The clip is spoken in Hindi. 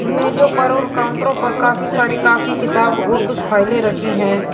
मेजो पर और काउंटरो पर काफी सारी काफी किताब और कुछ फाइले रखी हैं।